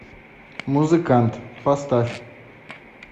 музыкант поставь